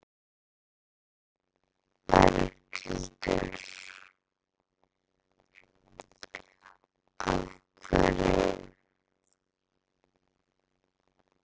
Berghildur: Af hverju?